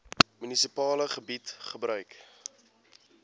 munisipale gebied gebruik